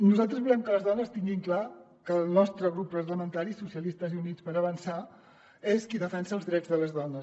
nosaltres volem que les dones tinguin clar que el nostre grup parlamentari socialistes i units per avançar és qui defensa els drets de les dones